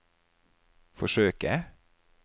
forsøke